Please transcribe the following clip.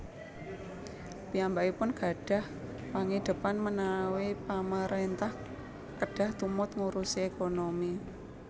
Piyambakipun gadhah pangidhepan menawi Pamaréntah kedah tumut ngurusi ékonomi